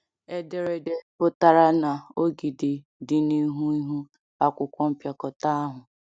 Ederede pụtara na ogidi dị n’ihu ihu akwụkwọ mpịakọta ahụ.